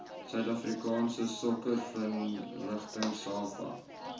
suidafrikaanse sokkervereniging safa